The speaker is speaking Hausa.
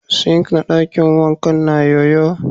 "Sink " na dakin wankan na yo-yo.